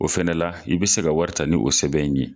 O fana la i bi se ka wari ta ni o sɛbɛn in ye.